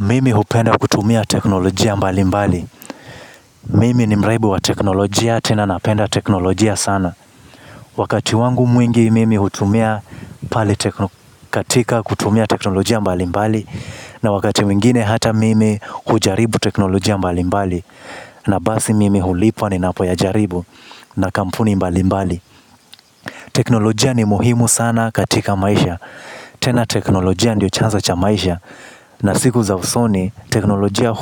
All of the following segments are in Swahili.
Mimi hupenda kutumia teknologia mbali mbali. Mimi ni mraibu wa teknolojia tena napenda teknolojia sana. Wakati wangu mwingi mimi hutumia katika kutumia teknolojia mbali mbali. Na wakati mwingine hata mimi hujaribu teknolojia mbali mbali. Na basi mimi hulipwa ni napo ya jaribu na kampuni mbali mbali. Teknolojia ni muhimu sana katika maisha. Tena teknolojia ndio chanzo cha maisha. Na siku za usoni teknolojia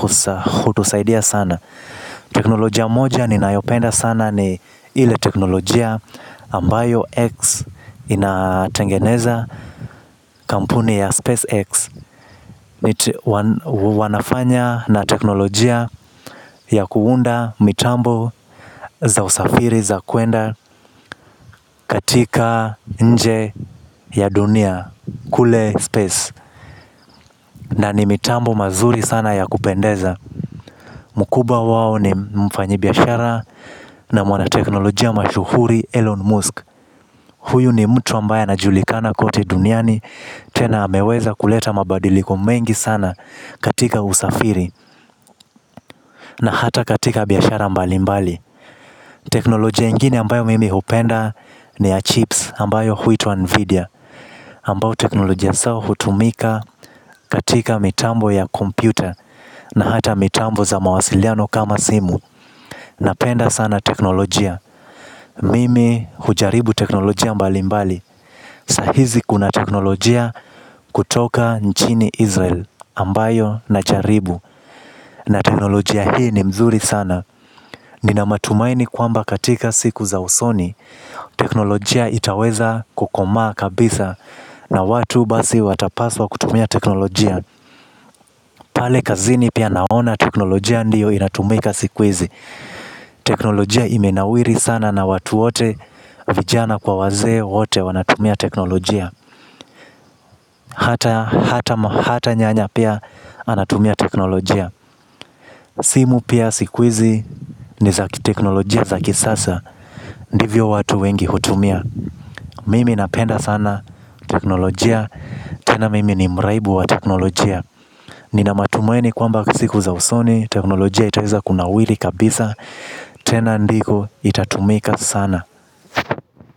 kutusaidia sana. Teknologia moja ninayopenda sana ni ile ya teknologia ambayo X inatengeneza kampuni ya Space X, Wanafanya na teknolojia ya kuunda mitambo za usafiri za kuenda katika nje ya dunia. Kule Space, na ni mitambo mazuri sana ya kupendeza. Mkubwa wao ni mfanya biashara na mwana teknolojia mashuhuri Elon Musk. Huyu ni mtu ambaye anajulikana kote duniani. Tena ameweza kuleta mabadiliko mengi sana katika usafiri. Na hata katika biashara mbali mbali. Teknolojia ingine ambayo mimi hupenda ni ya chips ambayo huitwa Nvidia Ambayo teknolojia sawa hutumika katika mitambo ya kompyuta. Na hata mitambo za mawasiliano kama simu napenda sana teknolojia, mimi hujaribu teknolojia mbali mbali. Sasa hivi kuna teknolojia kutoka nchini Israeli ambayo na jaribu na teknolojia hii ni mzuri sana. Nina matumaini kwamba katika siku za usoni teknolojia itaweza kukoma kabisa. Na watu basi watapaswa kutumia teknolojia. Pale kazini pia naona teknolojia ndiyo inatumika siku hizi. Teknolojia imenawiri sana na watu wote vijana kwa wazee wote wanatumia teknolojia. Hata nyanya pia anatumia teknolojia. Simu pia siku hizi ni zakiteknolojia zaki sasa. Ndivyo watu wengi hutumia. Mimi napenda sana teknolojia. Tena mimi ni mraibu wa teknolojia. Nina matumaini kwamba siku za usoni teknolojia itaweza kunawiri kabisa. Tena ndiko itatumika sana kwa hivyo k.